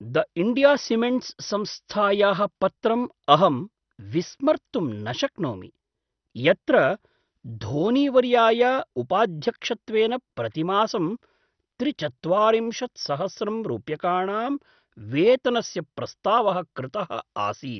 The India Cements संस्थायाः पत्रं अहं विस्मर्तुं न शक्नोमि, यत्र धोनीवर्याय उपाध्यक्षत्वेन प्रतिमासं त्रिचत्वारिंशत्सहस्रं रूप्यकाणां वेतनस्य प्रस्तावः कृतः आसीत्।